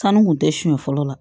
Sanu kun tɛ siɲɛ fɔlɔ la